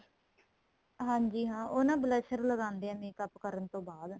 ਹਾਂਜੀ ਹਾਂ ਉਹ ਨਾ blusher ਲਗਾਦੇ ਏ makeup ਕਰਨ ਤੋ ਬਾਅਦ